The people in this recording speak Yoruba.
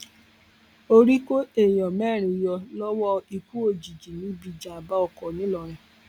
orí kó èèyàn mẹrin yọ lọwọ ikú òjijì níbi jáḿbá ọkọ ńlọrọrin